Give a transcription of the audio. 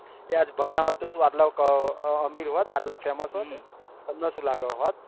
તે આજ ભણ્યા હોત તો શું આપળે અમીર હોત આટલા famous હોત તમને શું લાગત હોત